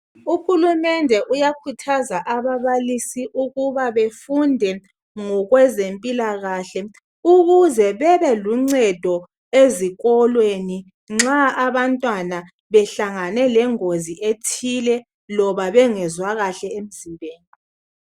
Uhulumende uyakhuthaza ababalisi ukuba befunde ngokwezempilakahle ukuze bebeluncedo ezikolweni nxa abantwana behlangane lengozi ethile loba bengezwa kahle emzimbeni.